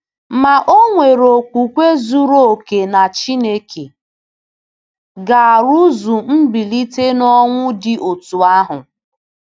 Ma o nwere okwukwe zuru oke na Chineke ga-arụzu mbilite n'ọnwụ dị otú ahụ.